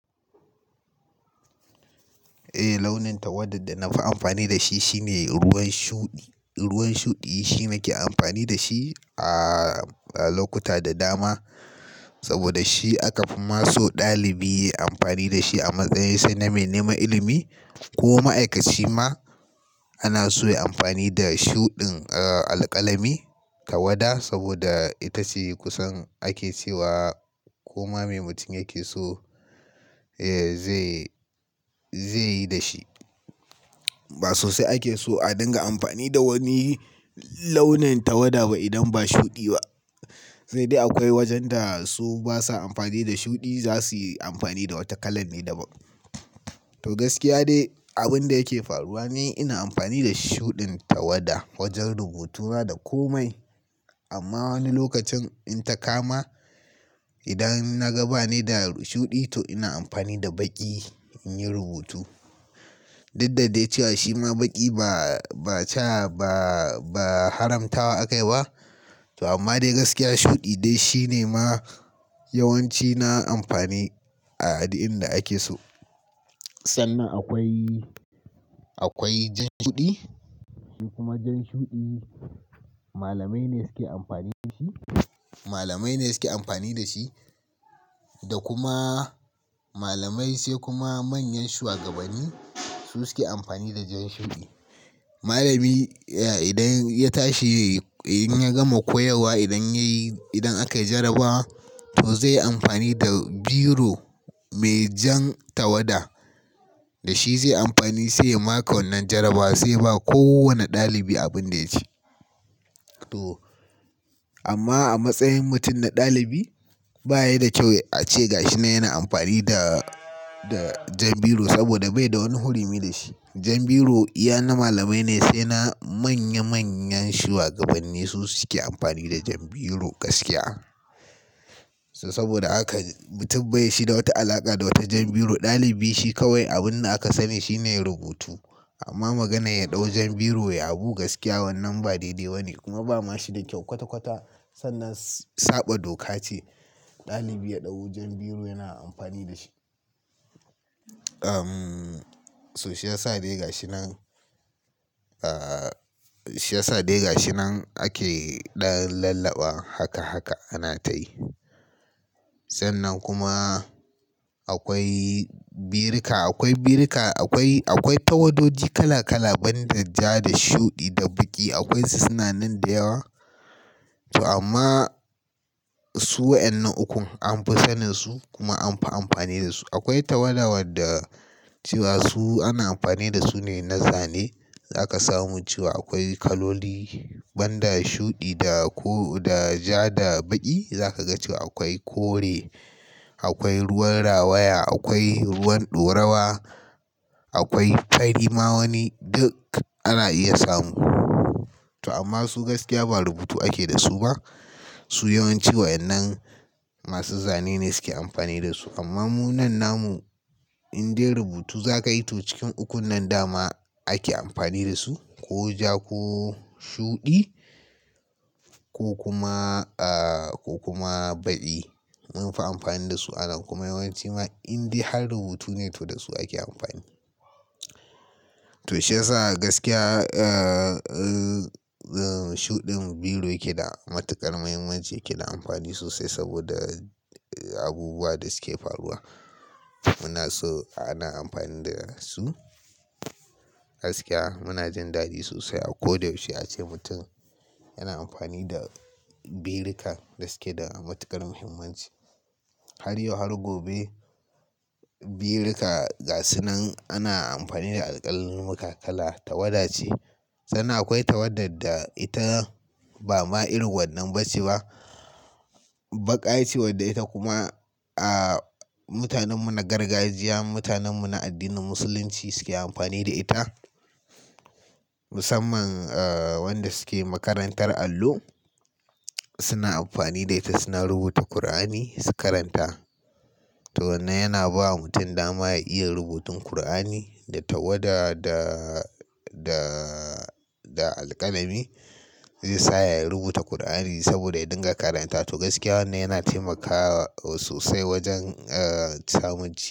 Eh launin tawada da na fi amfani da shi shine ruwan shuɗi. Ruwan shuɗi shine nake amfani da shi a lokuta da dama saboda shi aka fi ma so ɗalibi yayi amfani da shi a matsayin sai na mai neman ilimi ko ma'aikaci ma ana so yayi amfani da shuɗin alƙalami tawada saboda ita ce kusan ake cewa koma me mutum yake so zai, zai yi da shi. Ba sosai ake so a dinga amfani da wani launin tawada ba idan ba shuɗi ba. Sai dai akwai wajen da su basa amfani da shuɗi za su yi amfani da wata kala ne daban. To gaskiya dai abin da yake faruwa ne ina amfani da shuɗin tawada wajen rubutu na da komai. Amma wani lokacin in ta kama idan na ga ba ne da shuɗi to ina amfani da baƙi in yi rubutu. Dudda dai cewa shi ma baƙi ba, ba cawa ba, ba haramtawa a kai ba. To amma dai gaskiya shuɗi dai shine ma yawanci na amfani a a din inda ake so. Sannan akwai, akwai jan shuɗi. Shi kuma jan shuɗi malamai ne suke amfani da shi. Malamai ne suke amfani da shi. Da kuma malamai sai kuma manyan shugabanni su suke amfani da jan shuɗi. Malami idan ya tashi in ya gama koyarwa idan yayi, idan aka yi jarabawa to zai yi amfani da biro mai jan tawada da shi zai yi amfani sai ya maka wannan jarabawa sai ba kowane ɗalibi abin da yaci. To amma a matsayin mutum na ɗalibi ba ya da kyau a ce gashi nan yana amfani da, da jan biro saboda bai da wani hurumi da shi. Jan biro iya na malamai ne sai na manya manyan shugabanni su suke amfani da jan biro gaskiya. To saboda haka mutum bai shi da wata alaƙa da wata jan biro. Ɗalibi shi kawai abin da aka sani shine rubutu. Amma maganar ya ɗau jan biro yayi abu gaskiya wannan ba daidai ba ne kuma ba ma shi da kyau kwata kwata sannan saba doka ce ɗalibi ya ɗau jan biro yana amfani da shi. Umm, so shi yasa dai gashi nan, shi yasa dai gashi nan ake ɗan lallaɓa haka haka ana tayi. Sannan kuma akwai birika, akwai birika akwai, akwai tawadoji kala kala banda ja da shuɗi da baƙi akwai su suna nan da yawa. To amma su waɗannan ukun an fi sanin su kuma an fi amfani da su. Akwai tawada wadda cewa su ana amfani da su ne na zane. Za ka samu cewa akwai kaloli banda shuɗi da ko da ja da baƙi. Za ka ga cewa akwai kore, akwai ruwan rawaya, akwai ruwan ɗorawa, akwai tari ma wani duk ana iya samu. To amma su gaskiya ba rubutu ake da su ba. Su yawanci waɗannan masu zane ne suke amfani da su. Amma mu nan namu in dai rubutu za ka yi to cikin ukun nan da ma ake amfani da su ko ja ko shuɗi ko kuma, aa ko kuma baƙi. An fi amfani da su a nan kuma yawanci ma in dai har rubutu ne to da su ake amfani. To shi yasa gaskiya, aa, shuɗin biro yake da matuƙar muhimmanci yake da amfani sosai saboda abubuwa da suke faruwa. Muna so ana amfani da su gaskiya. Muna jin daɗi sosai a ko da yaushe a ce mutum yana amfani da birika da suke da matuƙar muhimmanci. Har yau har gobe birika gasi nan ana amfani da alƙalamin kala tawada ce. Sannan akwai tawada da ita ba ma irin wannan bace ba. Baƙa ce wadda ita kuma aa mutanen mu na gargajiya, mutanen mu na addinin musulunci suke amfani da ita. Musamman wanda suke makarantar allo suna amfani da ita suna rubuta Kur'ani su karanta. To nan yana bawa mutum dama ya iya rubutun Kur'ani da tawada da, da, da alƙalami zai sa ya rubuta Kur'ani saboda ya dinga karanta. To gaskiya wannan yana taimakawa sosai wajen a samun ci.